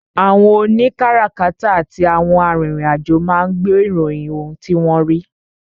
àwọn òní kárakáta àti àwọn arìnrìn-àjò máa ń gbé ìròyìn ohun tí wọ́n rí.